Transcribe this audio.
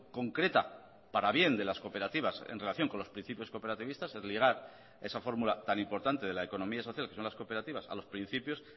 concreta para bien de las cooperativas en relación con los principios cooperativistas es ligar esa fórmula tan importante de la economía social que son las cooperativas a los principios